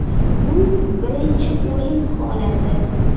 Bu birinchi o‘lim holati.